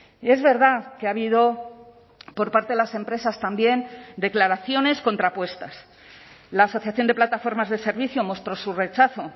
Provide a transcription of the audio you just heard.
y es verdad que ha habido por parte de las empresas también declaraciones contrapuestas la asociación de plataformas de servicio mostró su rechazo